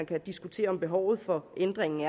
kan diskutere om behovet for ændringen